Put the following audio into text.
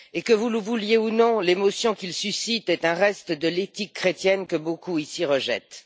Et que vous le vouliez ou non, l'émotion qu'ils suscitent est un reste de l'éthique chrétienne que beaucoup ici rejettent.